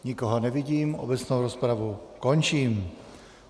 Nikoho nevidím, obecnou rozpravu končím.